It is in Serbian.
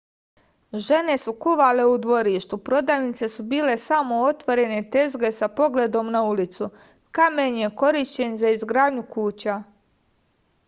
žene su kuvale u dvorištu prodavnice su bile samo otvorene tezge sa pogledom na ulicu kamen je korišćen za izgradnju kuća